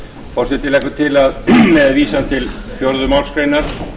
forseti leggur til með vísan til fjórðu málsgreinar